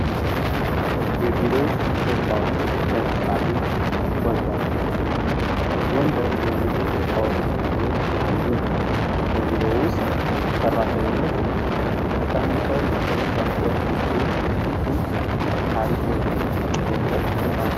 የቢሮ እቃዎች ለምሳሌ ወንበር የቢሮ እቃዎች ውስጥ አንዱ ነው። በቢሮ ውስጥ ሰራተኞች ተቀምጠው በሚሰሩበት ጊዜ እጅጉን ምቻት የሚሰጥ እቃ ነው።